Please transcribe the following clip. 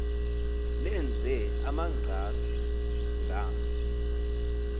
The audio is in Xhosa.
lenze amagqasi ngama